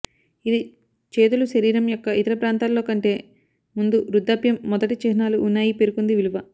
ఇది చేతులు శరీరం యొక్క ఇతర ప్రాంతాల్లో కంటే ముందు వృద్ధాప్యం మొదటి చిహ్నాలు ఉన్నాయి పేర్కొంది విలువ